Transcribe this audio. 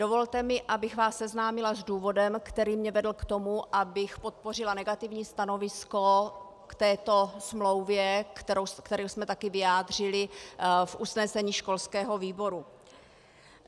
Dovolte mi, abych vás seznámila s důvodem, který mě vedl k tomu, abych podpořila negativní stanovisko k této smlouvě, které jsme taky vyjádřili v usnesení školského výboru.